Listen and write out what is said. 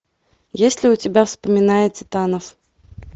есть ли у тебя вспоминая титанов